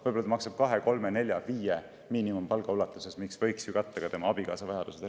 Võib-olla ta maksab kahe, kolme, nelja või viie miinimumpalga ulatuses, mis võiks ära katta ka tema abikaasa vajadused.